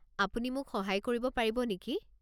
আপুনি মোক সহায় কৰিব পাৰিব নেকি?